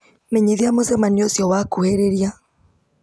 menyithia mũcemanio ũcio wakuhĩrĩria